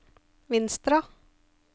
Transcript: Vinstra